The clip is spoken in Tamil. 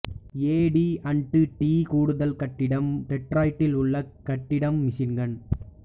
ஏடி அண்டு டி கூடுதல் கட்டிடம் டெட்ராய்டில் உள்ள கட்டிடம் மிச்சிகன்